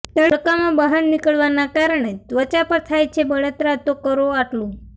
તડકામાં બહાર નીકળવાના કારણે ત્વચા પર થાય છે બળતરા તો કરો આટલું